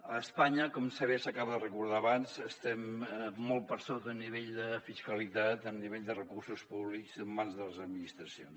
a espanya com bé s’acaba de recordar abans estem molt per sota a nivell de fiscalitat a nivell de recursos públics en mans de les administracions